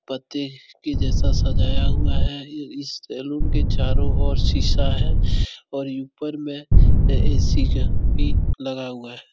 पत्ते के जैसा सजाया हुआ है इ इस सैलून के चारों और शीशा है और ऊपर में ए.सी. का भी लगा हुआ है।